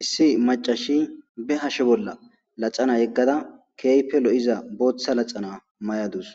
Issi macashiy be hashe bolla laxana gegada, keehipe lo'iza bootha laxana mayadus.